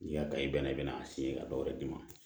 N'i y'a ta i bɛnna i bɛna a ka dɔw wɛrɛ d'i ma